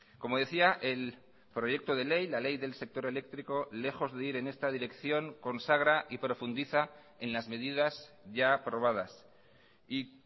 como decía el proyecto de ley la ley del sector eléctrico lejos de ir en esta dirección consagra y profundiza en las medidas ya aprobadas y